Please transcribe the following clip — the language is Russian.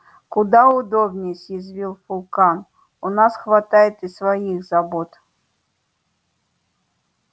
куда удобнее съязвил фулкам у нас хватает и своих забот